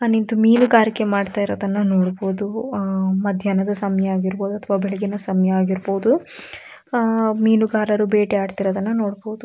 ಮೀನುಗಾರಿಕೆ ಮಾಡುತಿರುವಾದ್ದನ್ನು ನೋಡಬಹುದು ಅಹ್ ಅಹ್ ಮಧ್ಯಾಹ್ನ ಸಮಯ ಆಗಿರಬಹುದು ಅಥವಾ ಬೆಳಗಿನ ಸಮಯ ಆಗಿರಬಹುದು ಅಹ್ ಮೀನುಗಾರರು ಬೇಟೆಯಾಡುತಿರುವದನ್ನ ನೋಡಬಹುದು.